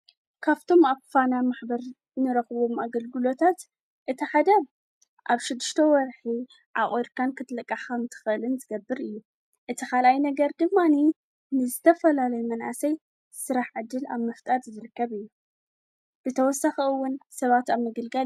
ካፍቶም ኣብ ፋና ማኅበር ንረኽዎም ኣገልግሎታት እቲሓደብ ኣብ ሽድሽተ ወርኂ ኣቝርካን ክትለቃኻም ትኸልን ዘገብር እዩ እቲ ኻልኣይ ነገር ድማኒ ንዘተፈላለይ መናሰይ ሥራሕ ዕድል ኣብ መፍጣር ዝዘረከብ እዩ። ብተወሰኺ እውን ሰባት ኣብ ምግልጋል ይርከብ።